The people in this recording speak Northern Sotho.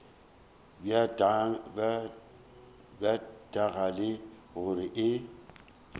bja tanka le gore e